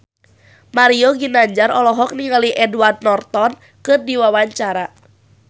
Mario Ginanjar olohok ningali Edward Norton keur diwawancara